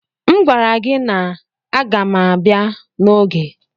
M gwara gị na agaghị m ga abia n'oge